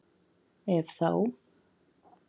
Ef þá?